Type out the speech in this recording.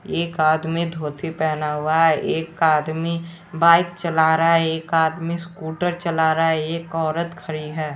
एक आदमी धोती पहना हुआ है एक आदमी बाइक चला रहा है एक आदमी स्कूटर चला रहा है एक औरत खड़ी है।